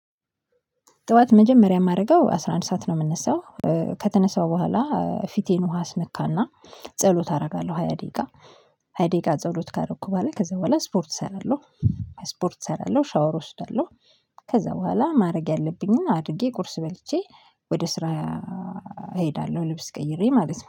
ጠዋት መጀመሪያ የማደርገው አስራ አንድ ሰዓት ነው የምነሳው ከተነሳው በኋላ ፊቴን ውሃ አስነካና ጸሎት አደርጋለሁ ሃያ ደቂቃ ሃያ ደቂቃ ጸሎት ካደረኩ በላይ ከዛ በኋላ ስፖርት እሰራለሁ። ስፖርት እሰራለሁ ሻወር እወስዳለሁ። ከዛ በኋላ ማድረግ ያለብኝን አድርጌ ቁርስ በልቼ ወደ ስራ እሄዳለሁ። ልብስ ቀይሬ ማለት ነው